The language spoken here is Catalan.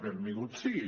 benvingut sigui